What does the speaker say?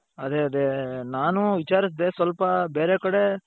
ಅದೇ ಅದೇ ನಾನು ವಿಚಾರುಸ್ದೆ ಸ್ವಲ್ಪ ಬೇರೆ ಕಡೆ,